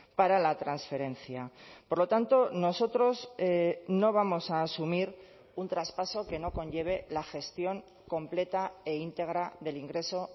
para la transferencia por lo tanto nosotros no vamos a asumir un traspaso que no conlleve la gestión completa e íntegra del ingreso